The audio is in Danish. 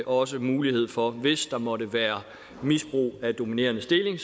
også mulighed for hvis der måtte være misbrug af dominerende stilling